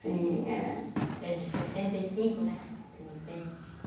Sim, é. É de sessenta e cinco, né?